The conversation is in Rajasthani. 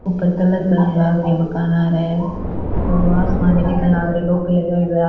ऊपर कलर करान लाग रया है मकान हारे थोड़ो आसमान भी दिखण लाग रयो है टोपी लगाएडो है।